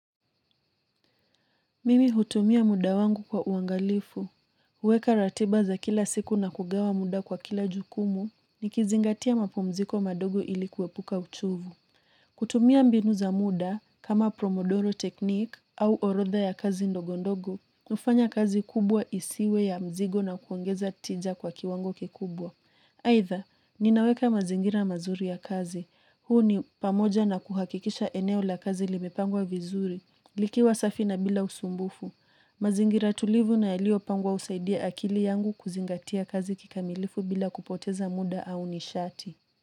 Mimi hutumia muda wangu kwa uangalifu. Huweka ratiba za kila siku na kugawa muda kwa kila jukumu, nikizingatia mapumziko madogo ili kuepuka uchovu. Kutumia mbinu za muda kama Pomodoro technique au orodha ya kazi ndogondogo kufanya kazi kubwa isiwe ya mzigo na kuongeza tija kwa kiwango kikubwa. Aidha, ninaweka mazingira mazuri ya kazi. Huu ni pamoja na kuhakikisha eneo la kazi limepangwa vizuri. Likiwa safi na bila usumbufu. Mazingira tulivu na yaliyopangwa husaidia akili yangu kuzingatia kazi kikamilifu bila kupoteza muda au nishati.